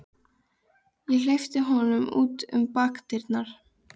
Ég hleypti honum út um bakdyrnar.